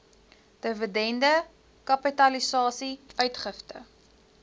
dividende kapitalisasie uitgifte